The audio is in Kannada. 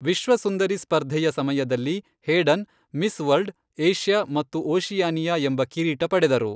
ವಿಶ್ವ ಸುಂದರಿ ಸ್ಪರ್ಧೆಯ ಸಮಯದಲ್ಲಿ ಹೇಡನ್ ಮಿಸ್ ವರ್ಲ್ಡ್, ಏಷ್ಯಾ ಮತ್ತು ಓಷಿಯಾನಿಯಾ ಎಂಬ ಕಿರೀಟ ಪಡೆದರು.